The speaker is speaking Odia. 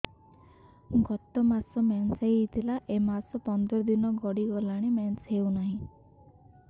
ଗତ ମାସ ମେନ୍ସ ହେଇଥିଲା ଏ ମାସ ପନ୍ଦର ଦିନ ଗଡିଗଲାଣି ମେନ୍ସ ହେଉନାହିଁ